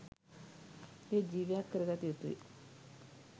එය ජීවයක් කරගත යුතුය.